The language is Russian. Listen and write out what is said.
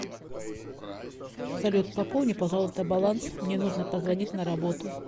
салют пополни пожалуйста баланс мне нужно позвонить на работу